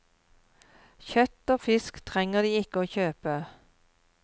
Kjøtt og fisk trenger de ikke å kjøpe.